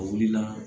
A wulila